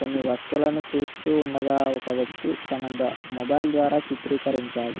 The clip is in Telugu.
కొన్ని వస్తువులను చూస్తూ ఉండగా తన మొబైలు ద్వారా చిత్రీకరించాడు